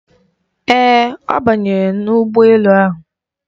Ee, ọ banyere n'ụgbọ elu ahụ.